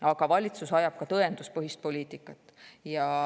Aga valitsus ajab ka tõenduspõhist poliitikat.